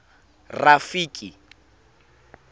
rafiki